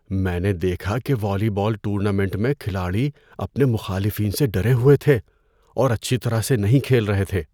میں نے دیکھا کہ والی بال ٹورنامنٹ میں کھلاڑی اپنے مخالفین سے ڈرے ہوئے تھے اور اچھی طرح سے نہیں کھیل رہے تھے۔